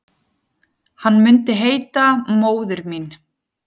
Hann myndi heita Móðir mín.